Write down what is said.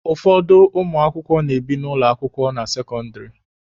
Ụfọdụ ụmụakwụkwọ na-ebi n'ụlọ akwụkwọ na sekọndịrị.